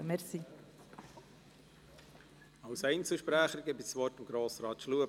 Wir kommen zu den Einzelsprechern, zuerst zu Grossrat Schlup.